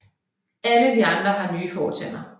Alle de andre har nye fortænder